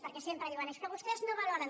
perquè sempre d iuen és que vostès no valoren